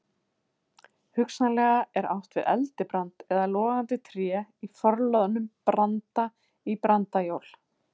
Hugsanlega er átt við eldibrand eða logandi tré í forliðnum branda- í brandajól.